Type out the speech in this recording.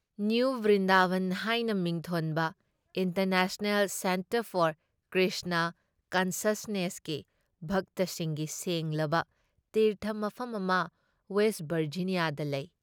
New Vrindaban ꯍꯥꯏꯅ ꯃꯤꯡꯊꯣꯟꯕ international centre for Krishna ꯀꯟꯁꯁꯅꯦꯁꯀꯤ ꯚꯛꯇꯁꯤꯡꯒꯤ ꯁꯦꯡꯂꯕ ꯇꯤꯔꯊ ꯃꯐꯝ ꯑꯃ ꯋꯦꯁ ꯚꯔꯖꯤꯅꯤꯌꯥꯗ ꯂꯩ ꯫